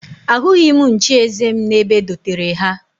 Ahụghị m nchieze m n'ebe e dotere ha